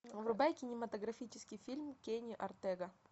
врубай кинематографический фильм кенни ортега